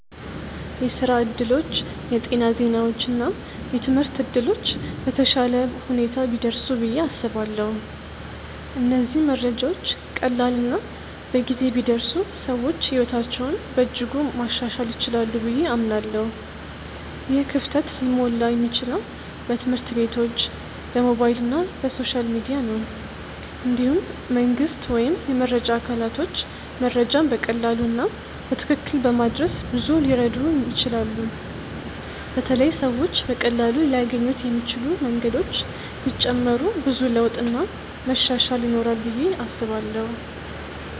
የስራ እድሎች፣ የጤና ዜናዎች እና የትምህርት እድሎች በተሻለ ሁኔታ ቢደርሱ ብዬ አስባለሁ። እነዚህ መረጃዎች ቀላል እና በጊዜ ቢደርሱ ሰዎች ሕይወታቸውን በእጅጉ ማሻሻል ይችላሉ ብዬ አምናለሁ። ይህ ክፍተት ሊሞላ የሚችለው በትምህርት ቤቶች፣ በሞባይል እና በሶሻል ሚዲያ ነው። እንዲሁም መንግስት ወይም የመረጃ አካላቶች መረጃን በቀላሉ እና በትክክል በማድረስ ብዙ ሊረዱ ይችላሉ በተለይ ሰዎች በቀላሉ ሊያገኙት የሚችሉ መንገዶች ቢጨመሩ ብዙ ለውጥ እና መሻሻል ይኖራል ብዬ አስባለው።